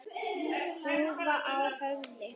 Húfa á höfði.